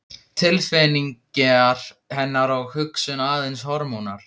Tilfinningar hennar og hugsun aðeins hormónar?